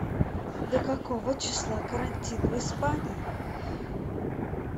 до какого числа карантин в испании